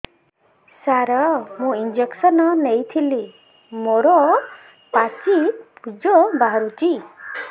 ସାର ମୁଁ ଇଂଜେକସନ ନେଇଥିଲି ମୋରୋ ପାଚି ପୂଜ ବାହାରୁଚି